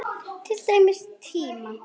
Til dæmis tíma.